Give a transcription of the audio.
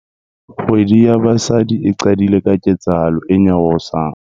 Kgwedi ya basadi e qadile ka ketsahalo e nyarosang.